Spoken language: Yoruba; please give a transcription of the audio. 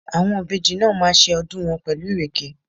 Àwọn ìbejì náà máa ṣe ọdún wọn pẹ̀lú Ìrèké?